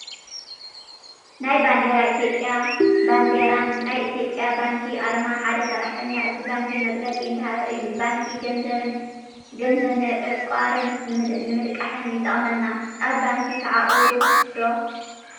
ናይ ባንዴራ ኢትዮጰያ ባንዴራን ናይ ኢትጰያ ባንኪ ኣርማ ሓደ ሰራሕተኛ እቲ ባንኪ መግለፂ እንዳሃበ እዩ ባንኪ ገንዘብ ንዕቋርን ንምልቃሕ ይጠቅመና። ኣብ ባንኪ ተዓቁሩ ዶ ?